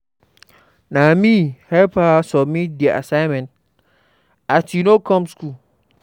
Na me help am submit di assignment as she no come skool.